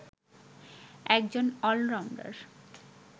একজন অলরাউন্ডার